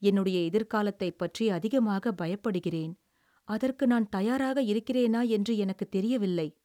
"என்னுடைய எதிர்காலத்தைப் பற்றி அதிகமாக பயப்படுகிறேன். அதற்கு நான் தயாராக இருக்கிறேனா என்று எனக்குத் தெரியவில்லை."